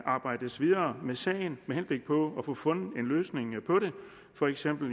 arbejdes videre med sagen med henblik på at få fundet en løsning på det for eksempel